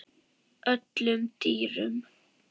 öllum dýrum